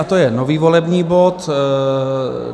A to je nový volební bod.